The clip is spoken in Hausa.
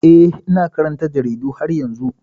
Eh, ina karanta jaridu har yanzu.